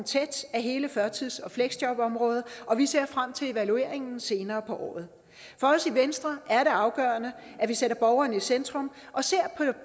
af hele førtids og fleksjobområdet og vi ser frem til evalueringen senere på året for os i venstre er det afgørende at vi sætter borgeren i centrum og ser